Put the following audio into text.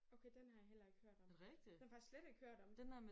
Okay den har jeg heller ikke hørt om. Den har jeg faktisk slet ikke hørt om